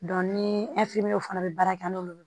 ni fana bɛ baara kɛ n'olu ye